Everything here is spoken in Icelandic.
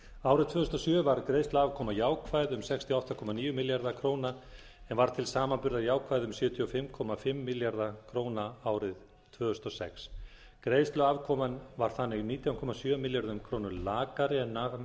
árið tvö þúsund og sjö var greiðsluafkoman jákvæð um sextíu og átta komma níu milljarða króna en var til samanburðar jákvæð um sjötíu og fimm komma fimm milljarða króna árið tvö þúsund og sex greiðsluafkoman var þannig nítján komma sjö milljörðum króna lakari